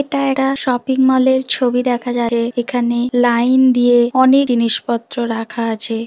এটা এটা শপিং মলের ছবি দেখা যাবে। এখানে লাইন দিয়ে অনেক জিনিসপত্র রাখা আছে।